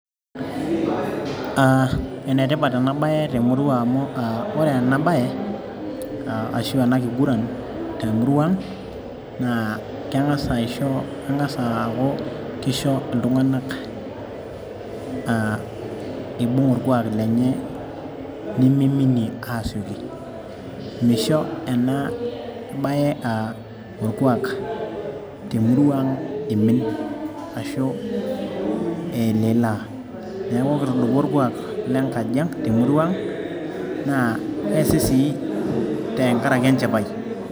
Aa enetipat enabaye temurua aang' amu ore ena baye ashu ena kiguran te emurua aang, keng'as aaku keisho iltung'anak aa iibing' orkuak lenye nemiminie aasioki, misho enabaye aa orkuak temurua aang' iimin, neeku keesi sii tenkaraki enchipai.